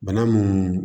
Bana mun